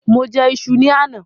Mo jẹ iṣu ni àná.